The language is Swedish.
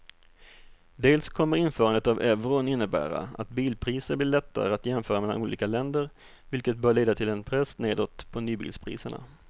Dels kommer införandet av euron innebära att bilpriser blir lättare att jämföra mellan olika länder vilket bör leda till en press nedåt på nybilspriserna.